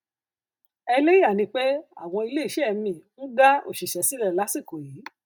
ẹlẹyà ni pé àwọn iléeṣẹ míì ń dá òṣìṣẹ sílẹ lásìkò yìí